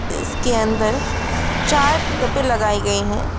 इसके अंदर चार पिकपे लगाई गई है।